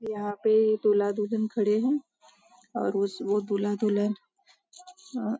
यहाँ पे दूल्हा दुल्हन खड़े है और उस वो दूल्हा दुल्हन अ --